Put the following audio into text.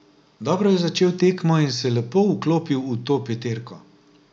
Dobro je začel tekmo in se lepo vklopil v to peterko.